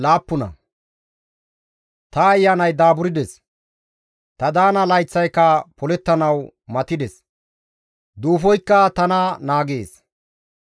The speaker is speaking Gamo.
«Ta ayanay daaburdes; ta daana layththayka polettanawu matides; duufoykka tana naagees.